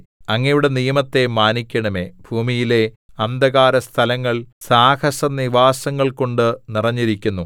അങ്ങയുടെ നിയമത്തെ മാനിക്കണമേ ഭൂമിയിലെ അന്ധകാരസ്ഥലങ്ങൾ സാഹസനിവാസങ്ങൾകൊണ്ട് നിറഞ്ഞിരിക്കുന്നു